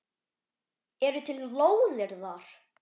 Eru til lóðir þar?